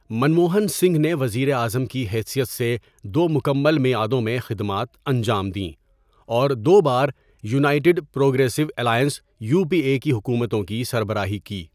منموہن سنگھ نے وزیر اعظم کی حیثیت سے دو مکمل میعادوں میں خدمات انجام دیں اور دو بار United Progressive Alliance U P A حکومتوں کی سربراہی کی.